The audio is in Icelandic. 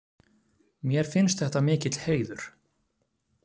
Mér finnst þetta mikill heiður.